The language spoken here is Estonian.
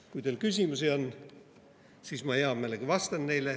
Kui teil küsimusi on, siis ma hea meelega vastan neile.